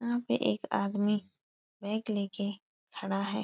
वहाँ पे एक आदमी बैग लेके खड़ा है।